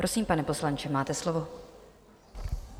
Prosím, pane poslanče, máte slovo.